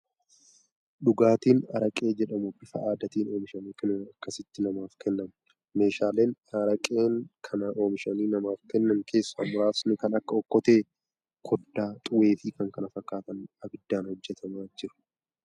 Dhugaatiin araqee jedhamu bifa aadaatiin oomishamee kunoo akkasitti namaaf kennaman. Meeshaaleen araqee kana oomishanii namaaf kennan keessaa muraasni kan akka Okkotee, koddaa, xuwwee fi kan kana fakkaatanidha. Abiddaan hojjetamaa jira.